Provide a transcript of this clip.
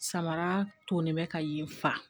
Samara tolen bɛ ka yen fa